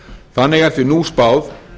þannig er því nú spáð